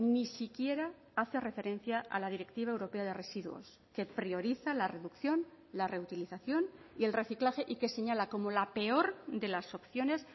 ni siquiera hace referencia a la directiva europea de residuos que prioriza la reducción la reutilización y el reciclaje y que señala como la peor de las opciones